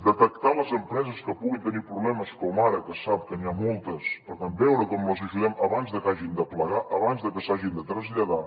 detectar les empreses que puguin tenir problemes com ara que se sap que n’hi ha moltes per tant veure com les ajudem abans de que hagin de plegar abans de que s’hagin de traslladar